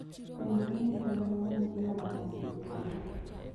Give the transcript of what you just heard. penjgi ni gwen mangeny iomonade e puodho?